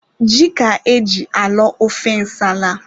Ji ka e ji alọ ofe nsala.